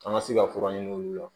An ka se ka fura ɲini olu la